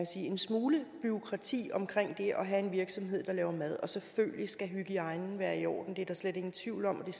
sige en smule bureaukrati omkring det at have en virksomhed der laver mad og selvfølgelig skal hygiejnen være i orden det er der slet ingen tvivl om og